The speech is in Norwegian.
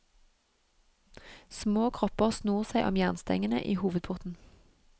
Små kropper snor seg om jernstengene i hovedporten.